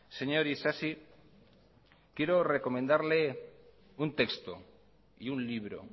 señor isasi quiero recomendarle un texto y un libro